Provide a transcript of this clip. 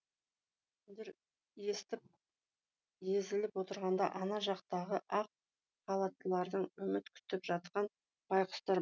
естіп езіліп отырғанда ана жақтағы ақ халаттылардан үміт күтіп жатқан байқұстар